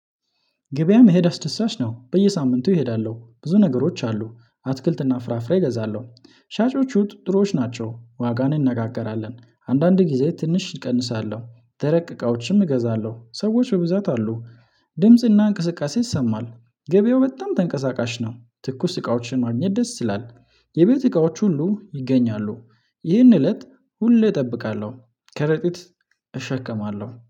ገበያ መሄድ አስደሳች ነው። በየሳምንቱ እሄዳለሁ ብዙ ነገሮች አሉ። አትክልትና ፍራፍሬ እገዛለሁ ሻጮቹ ጥሮዎች ናቸው ዋጋን እነጋገራለን። አንዳንድ ጊዜ ትንሽ እቀንሳለሁ። ደረቅ እቃዎችም እገዛለሁ ሰዎች በብዛት አሉ። ድምጽና እንቅስቃሴ ይሰማል። ገበያው በጣም ተንቀሳቃሽ ነው። ትኩስ እቃዎችን ማግኘት ደስ ይላል። የቤት እቃዎች ሁሉ ይገኛሉ። ይህን እለት ሁሌ እጠብቃለሁ። ከረጢት እሸከማለሁ